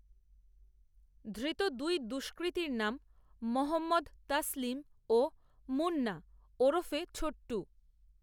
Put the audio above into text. ধৃত দুই দষ্কৃতীর নাম মহম্মদ, তসলিম ও মুন্না, ওরফে ছোট্টু